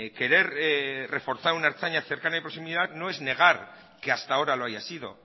querer reforzar una ertzaina cercana y de proximidad no es negar que hasta ahora lo haya sido